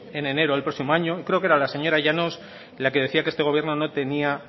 en enero del próximo año y creo que era la señora llanos la que decía que este gobierno no tenía